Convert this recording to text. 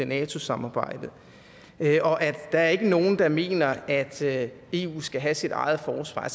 nato samarbejdet og at der ikke er nogen der mener at eu skal have sit eget forsvar